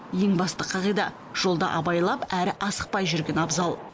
ең басты қағида жолда абайлап әрі асықпай жүрген абзал